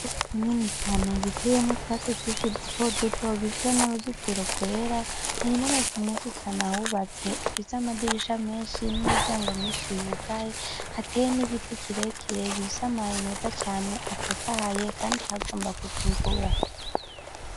Umurima munini cane giteyemwo utwatsi twishi duto duto gifise n'uruzitiro rwera hari n'amazu menshi cane ahubatse afise amadirisha menshi n'imiryango myinshi yugaye, hateye n'igiti kirekire gifise amabibi meza cane atotahaye, kandi hagomba kuva imvura.